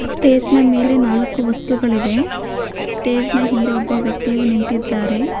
Stage ನ ಮೇಲೆ ನಾಲ್ಕು ವಸ್ತುಗಳಿವೆ ಸ್ಟೇಜ್ ನ ಹಿಂದೆ ಒಬ್ಬ ವ್ಯಕ್ತಿಯನ್ನು ನಿಂತಿದ್ದಾರೆ.